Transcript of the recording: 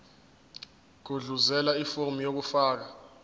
gudluzela ifomu lokufaka